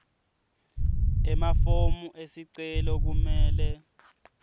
emafomu esicelo kumele